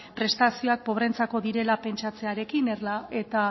prestazioak pobreentzako direla pentsatzearekin eta